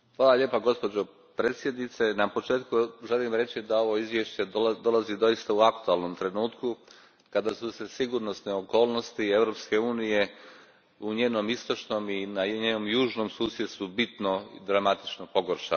Gospođo Predsjednice, na početku želim reći da ovo izvješće dolazi doista u aktualnom trenutku kada su se sigurnosne okolnosti Europske unije u njenom južnom i istočnom susjedstvu bitno i dramatično pogoršale.